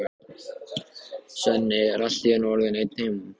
Svenni er allt í einu orðinn einn heima!